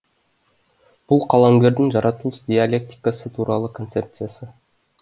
бұл қаламгердің жаратылыс диалектикасы туралы концепциясы